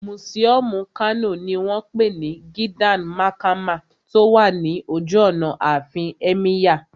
Mùsíọ̀mù Kano ní wọ́n pè ní Gidan Makama tó wà ní ojú ọ̀nà àfin Ẹ́míyà